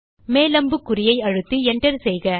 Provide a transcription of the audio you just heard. மேல் அம்புக்குறியை அழுத்தி enter செய்க